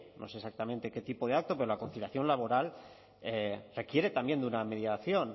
no sé exactamente qué tipo de acto pero la conciliación laboral requiere también de una mediación